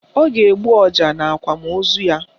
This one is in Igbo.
Ọ ga-egbu ọja n'akwamaozu ya